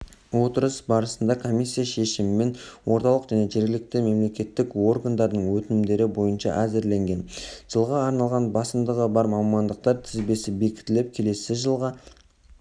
отырыс барысында комиссия шешімімен орталық және жергілікті мемлекеттік органдардың өтінімдері бойынша әзірленген жылға арналған басымдығы бар мамандықтар тізбесі бекітіліп келесі жылғы